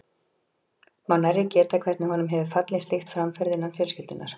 Má nærri geta, hvernig honum hefur fallið slíkt framferði innan fjölskyldunnar.